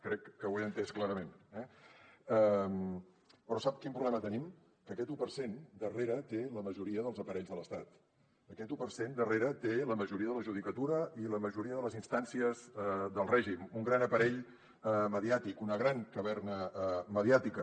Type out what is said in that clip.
crec que ho he entès clarament eh però sap quin problema tenim que aquest un per cent darrere té la majoria dels aparells de l’estat aquest un per cent darrere té la majoria de la judicatura i la majoria de les instàncies del règim un gran aparell mediàtic una gran caverna mediàtica